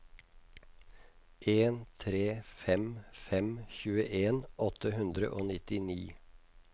en tre fem fem tjueen åtte hundre og nittini